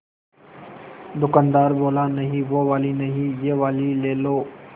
दुकानदार बोला नहीं वो वाली नहीं ये वाली ले लो